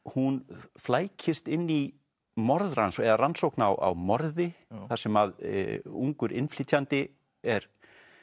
hún flækist inn í morðrannsókn eða rannsókn á morði þar sem ungur innflytjandi er